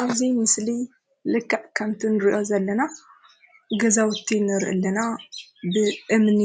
አብዚ ምስሊ ልክዕ ከምቲ ንሪኦ ዘለና ገዛውቲ ንሪኢ አለና ።ብእምኒ